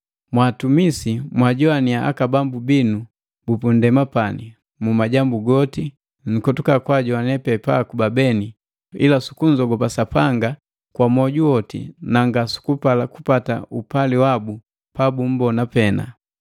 Mwa atumisi, mwajowaniya aka bambu binu bupundema pani mu majambu goti, nkotuka kwa ajone pe paakuba beni, ila sukunzogopa Sapanga kwa moju woti na nga sukupala kupata upali wabu pabummbona pena.